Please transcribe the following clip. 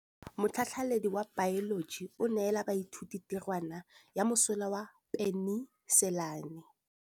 Motlhatlhaledi wa baeloji o neela baithuti tirwana ya mosola wa peniselene.